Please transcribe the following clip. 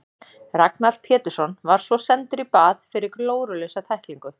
Ragnar Pétursson var svo sendur í bað fyrir glórulausa tæklingu.